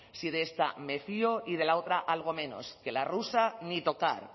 si de esta me fio y de la otra algo menos que la rusa ni tocar